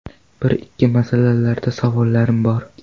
Bir-ikki masalalarda savollarim bor.